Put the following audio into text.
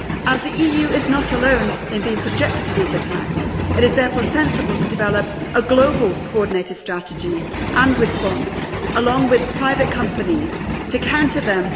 As the EU is not alone in being subjected to these attacks, it is sensible to develop a global coordinated strategy and response, along with private companies, to counter them.